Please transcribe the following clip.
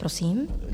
Prosím.